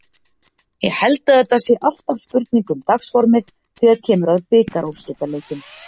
Ég held að þetta sé alltaf spurning um dagsformið þegar kemur að bikarúrslitaleikjum.